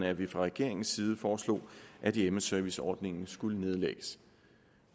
at vi fra regeringens side foreslog at hjemmeserviceordningen skulle nedlægges